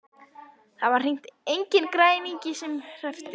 Og það var hreint enginn græningi sem hreppti.